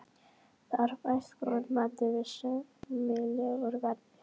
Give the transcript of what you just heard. Þar fæst góður matur við sæmilegu verði.